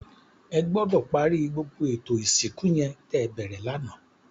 Ègbòdò pàri gbógbó étó isinkú yèn tè bèrè làná